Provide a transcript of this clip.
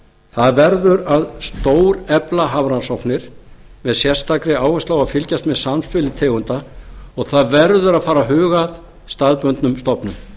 það verður að stórefla hafrannsóknir með sérstakri áherslu á að fylgjast með samspili tegunda og og það verður að bara að huga að staðbundnum stofnum